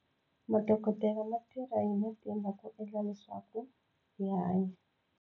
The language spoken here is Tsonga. Madokodela ma tirha hi matimba ku endla leswaku a hanya.